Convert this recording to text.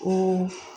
O